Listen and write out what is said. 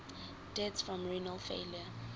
deaths from renal failure